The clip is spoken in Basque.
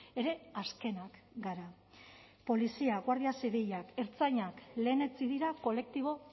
ere azkenak gara polizia guardia zibilak ertzainak lehenetsi dira kolektibo